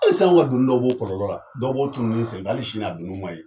Hali sa an donni dɔw b'o kɔlɔlɔ la, dɔw b'o tununin senfɛ, hali sin'a donniw ma ye.